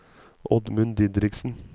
Oddmund Didriksen